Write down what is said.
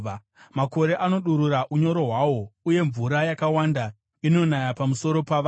makore anodurura unyoro hwawo uye mvura yakawanda inonaya pamusoro pavanhu.